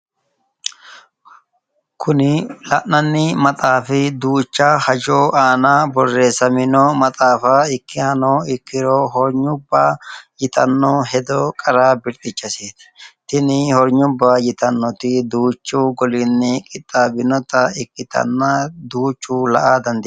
Kuni la’nanni maxaafi duucha hajo aana borreessamino maxaafa ikkinohano ikkiro hornyubba yitanno hedo qara birxxichasiiti. Tini honyubba yitannoti duuchu goliini qixxaabbinota ikkitanna duuchu la’ara dandaanno.